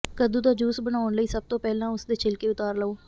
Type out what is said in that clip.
ਕੱਦੂ ਦਾ ਜੂਸ ਬਣਾਉਣ ਲਈ ਸਭ ਤੋਂ ਪਹਿਲਾਂ ਉਸ ਦੇ ਛਿਲਕੇ ਉਤਾਰ ਲਵੋ